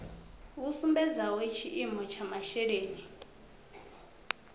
vhu sumbedzaho tshiimo tsha masheleni